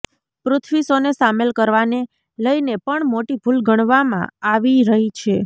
પૃથ્વી શોને સામેલ કરવાને લઈને પણ મોટી ભૂલ ગણવામાં આવી રહી છે